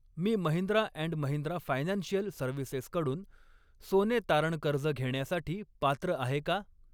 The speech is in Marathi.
Me Mahindra and Mahindra financial services कडून सोने तारण कर्ज घेण्यासाठी पात्र आहे का?